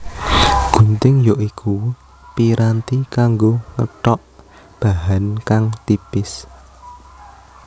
Gunting ya iku piranti kanggo ngethok bahan kang tipis